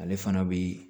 Ale fana bi